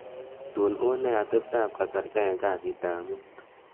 tun unee atebtab kasarta en kasit ab muut